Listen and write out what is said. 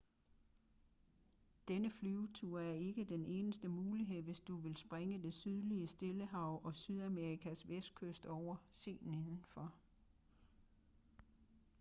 denne flyvetur er ikke den eneste mulighed hvis du vil springe det sydlige stillehav og sydamerikas vestkyst over. se nedenfor